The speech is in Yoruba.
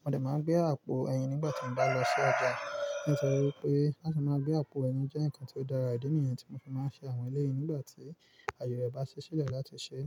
Mo de máa gbé n àpò ẹyin nígbà tí mo bá n lọ sí ọjà, nítorí pé láti máa gbé àpò ẹyin jẹ́ nǹkan ti o dára. Ìdí nìyii tí mo fi máa ń ṣe àwọn eléyìí nígbà tí àaye rẹ̀ bá si sílẹ̀ láti ṣe é.